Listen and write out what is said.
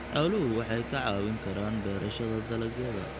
Xooluhu waxay ka caawin karaan beerashada dalagyada.